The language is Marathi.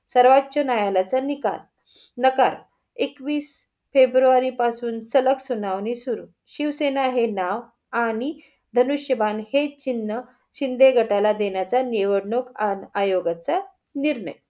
सर्वोचोन्यायालयाचा निकाल नकार एकवीस फेब्रुरी पासून सलग सुनावणी सुरु. शिवसेना हे नाव आणि धनुष्यबाण हे चिन्ह शिंदे गटाला देण्याचा निवडणूक आयोगाचा निर्णय.